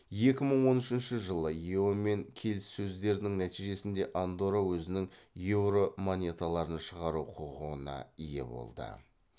екі мың он үшінші жылы ео мен келіссөздердің нәтижесінде андорра өзінің еуро монеталарын шығару құқығына ие болды